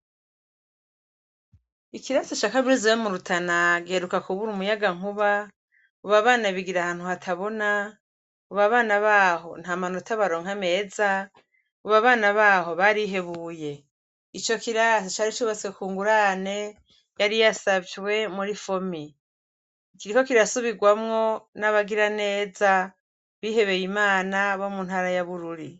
Ikirezi ca kaminuza ya rutana giheruka kubura umuyaga nkuba ubu abana bigira ahantu hatabona abana baho ntamanota baronka meza ubu abana baho barihebuye ico kirangi cari cubatse kungurane yari yasabiwe mur fomi kiriko kirasubirwamwo nabagiraneza abihebeyimana bo mu ntara ya bururi